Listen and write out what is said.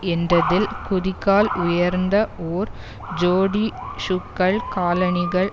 என்றதில் குதிக்கால் உயர்ந்த ஓர் ஜோடி ஷூக்கள் காலணிகள்